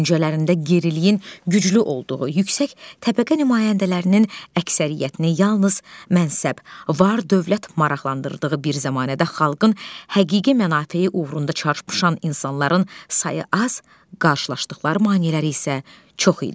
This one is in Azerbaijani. Düşüncələrində geriliyin güclü olduğu, yüksək təbəqə nümayəndələrinin əksəriyyətini yalnız mənşəb, var dövlət maraqlandırdığı bir zəmanədə xalqın həqiqi mənafeyi uğrunda çarpışan insanların sayı az, qarşılaşdıqları maneələr isə çox idi.